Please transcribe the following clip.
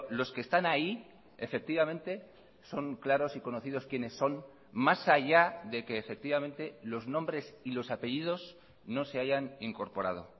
los que están ahí efectivamente son claros y conocidos quienes son más allá de que efectivamente los nombres y los apellidos no se hayan incorporado